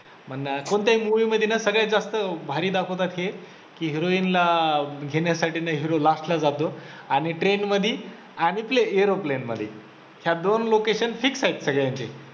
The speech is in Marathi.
कोणत्याही movie मध्ये सगळ्यात जास्त भारी दाखवतात हे की heroin ला घेण्यासाठी ना hero last ला जातो आणि train मध्ये आणि aroplane मध्ये